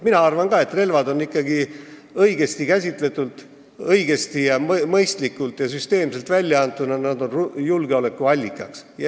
Mina arvan ka, et õigesti käsitletult ning õigesti, mõistlikult ja süsteemselt väljaantuna on relvad julgeolekuallikas.